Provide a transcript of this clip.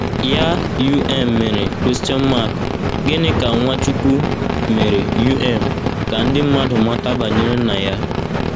Ya um mere, gịnị ka Nwachukwu mere um ka ndị mmadụ mata banyere Nna ya?